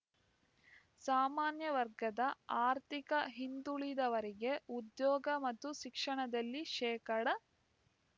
ಸಾಮಾನ್ಯ ವರ್ಗದ ಆರ್ಥಿಕ ಹಿಂದುಳಿದವರಿಗೆ ಉದ್ಯೋಗ ಮತ್ತು ಶಿಕ್ಷಣದಲ್ಲಿ ಶೇಕಡಾ